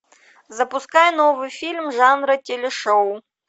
запускай новый фильм жанра телешоу